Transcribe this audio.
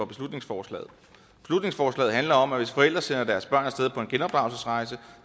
beslutningsforslaget handler om at hvis forældre sender deres børn af sted på en genopdragelsesrejse